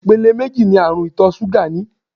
Ìpele méjì ní àrùn ìtọ̀ ṣúgà ní.